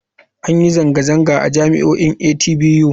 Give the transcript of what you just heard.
An yi zanga-zanga a jami'o'in atbu.